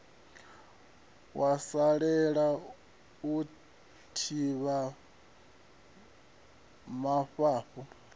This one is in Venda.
wa salela u thivha mafhafhu